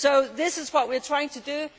This is what we are trying to